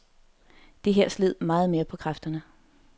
Det her sled meget mere på kræfterne.